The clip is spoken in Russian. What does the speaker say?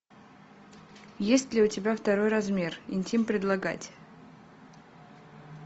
есть ли у тебя второй размер интим предлагать